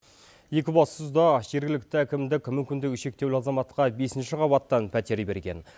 екібастұзда жергілікті әкімдік мүмкіндігі шектеулі азаматқа бесінші қабаттан пәтер берген